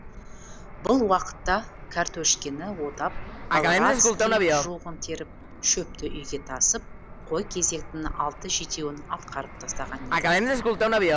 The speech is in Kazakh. бұл уақытта кәртөшкені отап каларадский жуғын теріп шөпті үйге тасып қой кезектің алты жетеуін атқарып тастаған едік